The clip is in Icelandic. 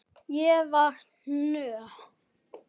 Ég var nóg.